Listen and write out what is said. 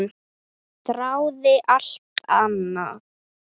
Þráði alltaf annað.